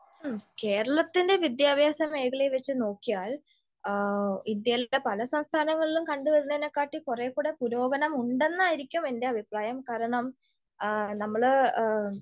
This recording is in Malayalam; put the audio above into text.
കേരളത്തിൻ്റെ വിദ്യാഭ്യാസ മേഖലയെവെച്ച് നോക്കിയാൽ ഇന്ത്യയിലെ പല സംസ്ഥനങ്ങളിലും കണ്ടു വരുന്നേനേക്കാട്ടിം കൊറേ കൂടി പുരോഗനം ഉണ്ടെന്നായിരിക്കും എൻ്റെ അഭിപ്രായം കാരണം നമ്മള്